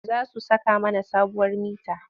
Za su saka mana sabuwar mita.